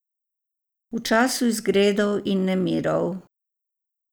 V času izgredov in nemirov.